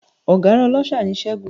Ọ̀gárá ọláṣa ni Ṣẹ́gun